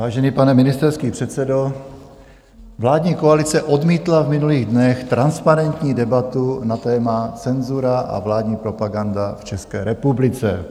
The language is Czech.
Vážený pane ministerský předsedo, vládní koalice odmítla v minulých dnech transparentní debatu na téma cenzura a vládní propaganda v České republice.